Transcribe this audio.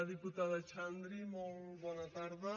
diputada xandri molt bona tarda